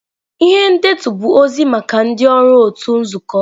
Ihe ndetu bụ ozi maka ndị ọrụ otu nzukọ.